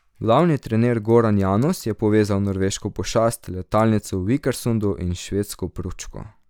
Glavni trener Goran Janus je povezal norveško pošast, letalnico v Vikersundu, in švedsko pručko.